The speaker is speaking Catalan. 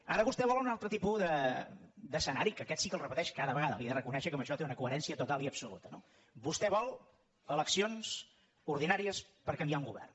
ara vostè vol un altre tipus d’escenari que aquest sí que el repeteix cada vegada li he de reconèixer que en això té una coherència total i absoluta no vostè vol eleccions ordinàries per canviar un govern